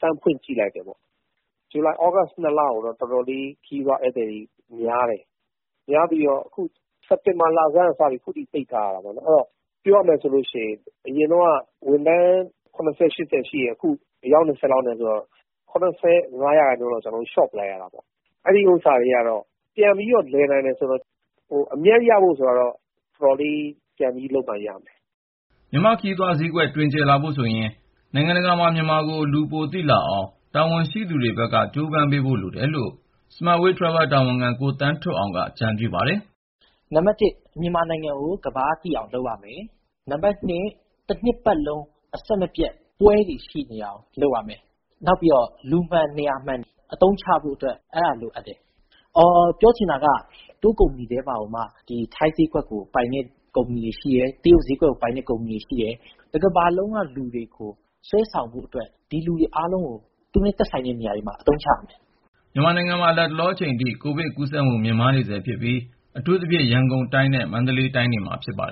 စမ်းဖွင့်ကြည့်လိုက်တယ်ပေါ့။ ဇူလိုင်၊ သြဂုတ် ၂ လမှာတော့ ခရီးသွားဧည့်သည်တွေ တော်တော်လေး များခဲ့တယ်။ များပြီးတော့ စက်တင်ဘာလဆန်းကစပြီး ခုထိ ပိတ်ထားရတာပေ့ါလေ။ အဲဒီတော့ ပြောရမယ်ဆိုရင် အရင်တုန်းက ဝန်ထမ်း ၇၀-၈၀ ရှိတယ်ဆိုရင် အခု အယောက် ၂၀ လောက်ပဲ ရှိတော့တာဆိုတော့ ၇၅ ရာခိုင်နှုန်းလောက် လျှော့လိုက်ရတဲ့သဘောပဲ။ အဲဒါကတော့ လုပ်ငန်း ပြန်လည်ပတ်နိုင်တယ် ဆိုရင်တောင် အမြတ်ရဖို့ ဆိုတာကတော့ တော်တော်လေး ပြန်လုပ်နိုင်မှရမယ်။” မြန်မာ့ခရီးသွားဈေးကွက် တွင်ကျယ်လာဖို့ဆိုရင် နိုင်ငံတကာမှာ မြန်မာကို လူပိုသိလာအောင် တာဝန်ရှိသူတွေဘက်က ကြိုးပမ်းပေးဖို့ လိုတယ်လို့ Smart Way Travel တာဝန်ခံ ကိုသန်းထွဋ်အောင်က အကြံပြုပါတယ်။ “နံပါတ် ၁ မြန်မာနိုင်ငံကို ကမ္ဘာကသိအောင် လုပ်ရမယ်။ နံပါတ် ၂ တနှစ်ပတ်လုံး အဆက်မပြတ် ပွဲတွေရှိနေအောင် လုပ်ရမယ်။ နောက်ပြီးတော့ လူမှန်နေရာမှန် အသုံးချဖို့အတွက် လိုအပ်တယ်။ ပြောချင်တာကတော့ Tour ကုမ္ပဏီထဲမှာမှ ထိုင်းဈေးကွက်ကိုပိုင်တဲ့ ကုမ္ပဏီတွေရှိသလို တရုတ်ဈေးကွက်ကိုပိုင်တဲ့ ကုမ္ပဏီတွေ ရှိတယ်။ တကမ္ဘာလုံးက လူတွေကို ဆွဲဆောင်ဖို့အတွက် အဲဒီလူတွေ အားလုံးကို သူတို့နဲ့သက်ဆိုင်တဲ့ နေရာတွေမှာ နေရာပေး အသုံးချရမယ်။” မြန်မာနိုင်ငံမှာ လတ်တလောအချိန်ထိ ကိုဗစ်ကူးစက်မှု မြင့်မားနေဆဲဖြစ်ပြီး အထူးသဖြင့် ရန်ကုန်နဲ့ မန္တလေးတိုင်းတွေမှာ ဖြစ်ပါတယ်